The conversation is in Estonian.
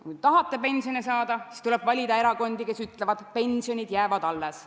Kui tahate pensioni saada, siis tuleb valida erakondi, kes ütlevad, et pensionid jäävad alles.